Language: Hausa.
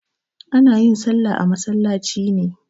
Ana yin salla a masallaci ne.